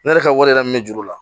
Ne yɛrɛ ka wari yɛrɛ min bɛ juru la